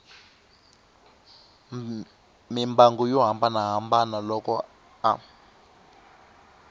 mimbangu yo hambanahambana loko a